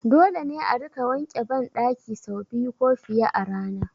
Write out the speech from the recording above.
Dole ne a rika wanke ban ɗaki sau biyu ko fiye a rana